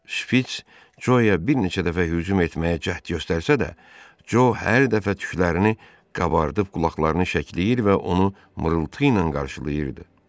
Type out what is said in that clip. Şpiç Coa bir neçə dəfə hücum etməyə cəhd göstərsə də, Co hər dəfə tüklərini qabardıb, qulaqlarını şəkilləyir və onu mırıltı ilə qarşılayırdı.